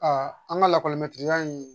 an ka lakɔli in